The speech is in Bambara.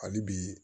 Hali bi